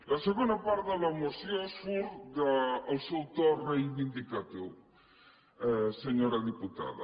la segona part de la moció surt del seu to reivindicatiu senyora diputada